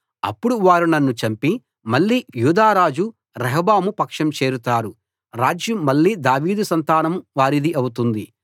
అప్పుడు వారు నన్ను చంపి మళ్ళీ యూదా రాజు రెహబాము పక్షం చేరతారు రాజ్యం మళ్ళీ దావీదు సంతానం వారిది అవుతుంది